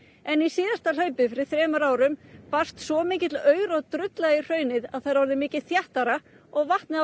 en í síðasta hlaupi fyrir þremur árum barst svo mikill aur og drulla í hraunið að það er orðið mikið þéttara og vatnið á